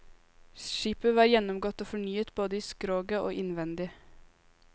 Skipet var gjennomgått og fornyet både i skroget og innvendig.